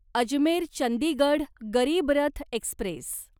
Ajmer Chandigarh Garib Rath Express